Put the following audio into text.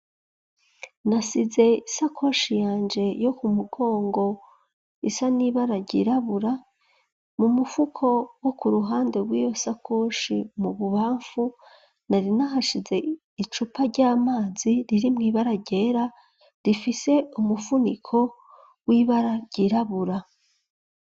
Nasize isakoshi yanje yo ku mugongo isa n ibara ry'irabura mu mufuko wo ku ruhande wiyo sakoshi , mu bubamfu nari nahashize icupa ry'amazi riri mw'ibara ryera rifise umufuniko w'ibara ry'irabura.